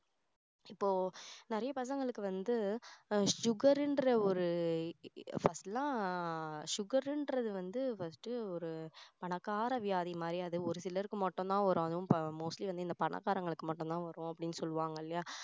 இப்போ நிறைய பசங்களுக்கு வந்து sugar ன்ற ஒரு first லாம் sugar ன்றது வந்து first ஒரு பணக்கார வியாதி மாதிரி அது ஒரு சிலருக்கு மட்டும் தான் வரும் அதுவும் mostly வந்து இந்த பணக்காரங்களுக்கு மட்டும் தான் வரும் அப்படின்னு சொல்லுவாங்க இல்லையா